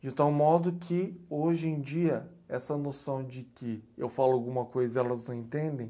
De tal modo que, hoje em dia, essa noção de que eu falo alguma coisa e elas não entendem,